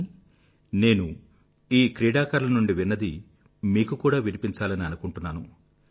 కానీ నేను ఈ క్రీడాకారుల నుండి విన్నది మీకు కూడా వినిపించాలని అనుకుంటున్నాను